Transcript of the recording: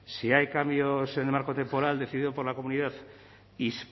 si hay cambios en el marco temporal decidido por la comunidad